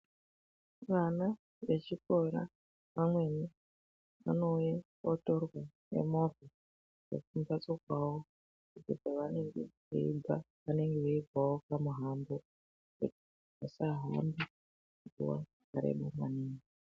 Vana vechikora vamweni vanouya votorwa ngemovha dzekumbatso kwavo ngekuti kwavanenge veibva vanenge veibva kune mumango kuti vasahambe mumango wakareba maningi.